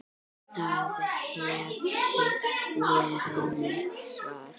Það hefði verið mitt svar.